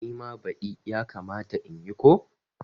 Nima badi yakamata in yi ko?